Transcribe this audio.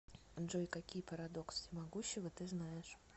джой какие парадокс всемогущего ты знаешь